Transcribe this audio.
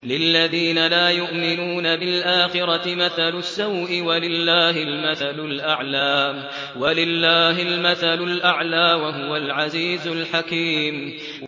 لِلَّذِينَ لَا يُؤْمِنُونَ بِالْآخِرَةِ مَثَلُ السَّوْءِ ۖ وَلِلَّهِ الْمَثَلُ الْأَعْلَىٰ ۚ وَهُوَ الْعَزِيزُ الْحَكِيمُ